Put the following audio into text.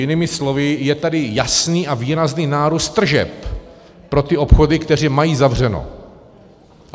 Jinými slovy, je tady jasný a výrazný nárůst tržeb pro ty obchody, které mají zavřeno.